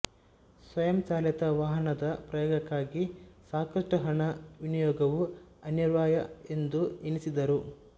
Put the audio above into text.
ಸ್ವಯಂ ಚಾಲಿತ ವಾಹನದ ಪ್ರಯೋಗಕ್ಕಾಗಿ ಸಾಕಷ್ಟು ಹಣ ವಿನಿಯೋಗವೂ ಅನಿವಾರ್ಯ ಎಂದು ಎನಿಸಿದ್ದರು